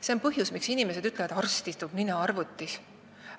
See on põhjus, miks inimesed ütlevad: "Arst istub, nina arvutis".